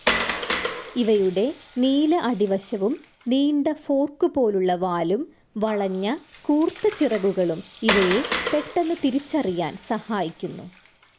ഇവയുടെ നീല അടിവശവും, നീണ്ട ഫോർക്കു പോലുള്ള വാലുംവളഞ്ഞ കൂർത്ത ചിറകുകളും ഇവയെ പെട്ടെന്നു തിരിച്ചറിയാൻ സഹായിക്കുന്നു.